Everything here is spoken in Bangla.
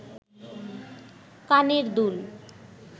কানের দুল